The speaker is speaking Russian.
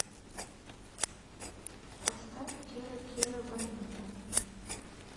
поставь керо керо бонито